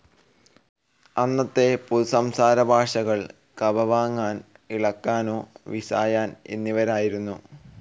അന്നത്തെ പൊതു സംസാരഭാഷകൾ കപാമ്പങ്ങാൻ, ഇളക്കാനോ, വിസായാൻ എന്നിവരായിരുന്നു.